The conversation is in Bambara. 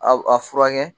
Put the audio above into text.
A a furakɛ